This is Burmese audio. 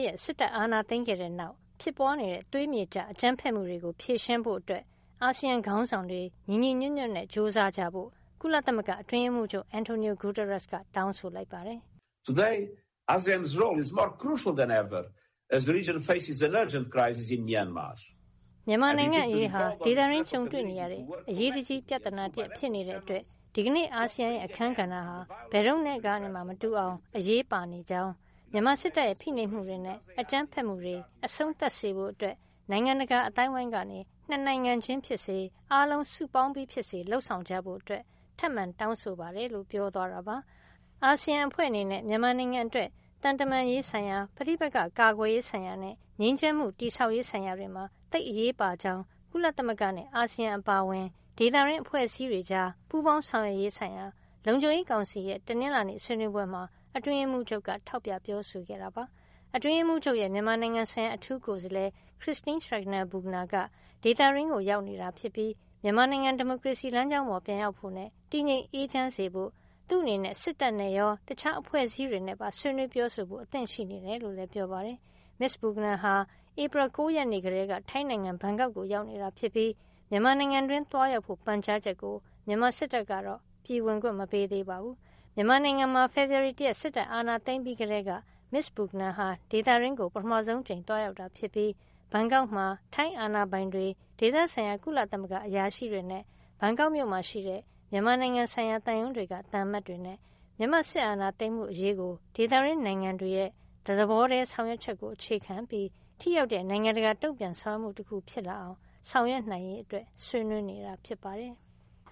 ရက် စစ်တပ်အာဏာသိမ်းခဲ့တဲ့ နောက်ဖြစ်ပွားနေတဲ့ သွေးမြေကျ အကြမ်းဖက်မှုတွေကို ဖြေရှင်းဖို့ အာဆီယံခေါင်းဆောင်တွေ ညီညီညွတ်ညွတ်ကြိုးစားကြဖို့ ကုလသမဂ္ဂအတွင်းရေးမှူးချုပ် Antonio Guterres က တောင်းဆိုလိုက်ပါတယ်။ “မြန်မာနိုင်ငံ့အရေးဟာ ဒေသတွင်း ကြုံတွေ့နေရတဲ့ အရေးတကြီး ပြဿနာတရပ် ဖြစ်နေတဲ့အတွက် ဒီကနေ့ အာဆီယံရဲ့ အခန်းကဏ္ဍဟာ ဘယ်တုန်းကနဲ့မှမတူအောင် အရေးပါနေကြောင်းနဲ့ မြန်မာစစ်တပ်ရဲ့ ဖိနှိပ်မှုတွေနဲ့ အကြမ်းဖက်မှုတွေ အဆုံးသတ်စေဖို့ နိုင်ငံတကာ အသိုင်းဝိုင်းကနေ ၂ နိုင်ငံ ချင်းဖြစ်စေ၊ အားလုံးစုပေါင်းပြီးဖြစ်စေ လုပ်ဆောင်ကြဖို့ ထပ်မံတောင်းဆိုပါတယ်” လို့ ပြောသွားတာပါ။ အာဆီယံ အဖွဲ့အနေနဲ့ မြန်မာနိုင်ငံအတွက် သံတမန်ရေးဆိုင်ရာ၊ ပဋိပက္ခကာကွယ်ရေးဆိုင်ရာနဲ့ ငြိမ်းချမ်းမှု တည်ဆောက်ရေး ဆိုင်ရာတွေမှာ သိပ်အရေးပါကြောင်း ကုလသမဂ္ဂနဲ့ အာဆီယံ အပါအဝင် ဒေသတွင်းအဖွဲ့အစည်း တွေကြား ပူးပေါင်းဆောင်ရွက်ရေး ဆိုင်ရာ လုံခြုံရေးကောင်စီရဲ့ တနင်္လာနေ့ ဆွေးနွေးပွဲမှာ အတွင်းရေးမှူးချုပ်က ထောက်ပြ ပြောဆိုခဲ့တာ ဖြစ်ပါတယ်။ အတွင်းရေးမှူးချုပ်ရဲ့ မြန်မာနိုင်ငံဆိုင်ရာ အထူးကိုယ်စားလှယ် Christine Schraner Burgener ဟာ ဒေသတွင်းကို ရောက်ရှိနေပြီး မြန်မာနိုင်ငံ ဒီမိုကရေစီလမ်းကြောင်းပေါ် ပြန်ရောက်ဖို့နဲ့ တည်ငြိမ်အေးချမ်းစေဖို့ အတွက် သူ့အနေနဲ့ စစ်တပ်နဲ့ရော တခြားအဖွဲ့အစည်းတွေနဲ့ပါ ဆွေးနွေးပြောဆိုဖို့ အသင့်ရှိနေကြောင်းလည်း ပြောပါတယ်။ မစ္စ Burgener ဟာ ဧပြီလ ၉ ရက်နေ့ကတည်းက ထိုင်းနိုင်ငံ ဘန်ကောက်ကို ရောက်ရှိနေတာ ဖြစ်ပြီး မြန်မာနိုင်ငံတွင်း သွားရောက်ဖို့ ပန်ကြားချက်ကို မြန်မာစစ်တပ်ကတော့ ပြည်ဝင်ခွင့် မပေးသေးပါဘူး။ မြန်မာနိုင်ငံမှာ ဖေဖေါ်ဝါရီ ၁ ရက် စစ်တပ်အာဏာသိမ်းပြီး ကတည်းက မစ္စ Burgener ဟာ ဒေသတွင်းကို ပထမဆုံး အကြိမ် သွားရောက်တာ ဖြစ်ပြီး ဘန်ကောက်မှာ ထိုင်းအာဏာပိုင်တွေ၊ ဒေသဆိုင်ရာ ကုလသမဂ္ဂအရာရှိတွေနဲ့ ဘန်ကောက်ရှိ မြန်မာနိုင်ငံဆိုင်ရာသံရုံးတွေက သံအမတ်တွေနဲ့ မြန်မာ့ စစ်အာဏာသိမ်းမှု အရေးကို ဒေသတွင်းနိုင်ငံတွေရဲ့ တသဘောတည်း ဆောင်ရွက်ချက်ကို အခြေခံပြီး ထိရောက်တဲ့ နိုင်ငံတကာ တုံ့ပြန်ဆောင်ရွက်မှု တခု ဖြစ်လာအောင် ဆောင်ရွက်နိုင်ရေး ဆွေးနွေးနေတာ ဖြစ်ပါတယ်။